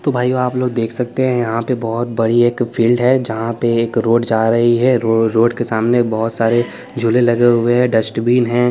तो भाईयों आप लोग देख सकते हैं यहाँ पे बहुत बड़ी एक फील्ड है जहाँ पे एक रोड जा रही है रो रोड के सामने बहुत सारे झूले लगे हुए हैं डस्टबिन है।